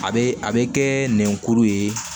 A bɛ a bɛ kɛ nɛn kuru ye